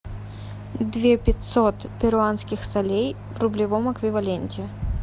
две пятьсот перуанских солей в рублевом эквиваленте